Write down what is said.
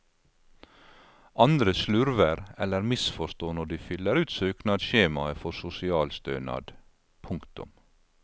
Andre slurver eller misforstår når de fyller ut søknadsskjemaet for sosialstønad. punktum